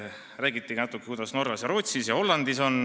Räägiti natukene, kuidas on Norras, Rootsis ja Hollandis.